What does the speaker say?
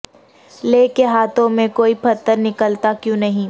لے کے ہاتھوں میں کوئی پتھر نکلتا کیوں نہیں